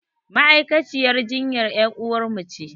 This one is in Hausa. Ma'aikaciyar jinyan ƴaruwar mu ce